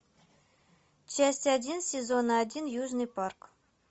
часть один сезон один южный парк